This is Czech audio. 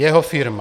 Jeho firma.